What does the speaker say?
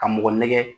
Ka mɔgɔ nɛgɛ